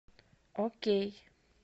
окей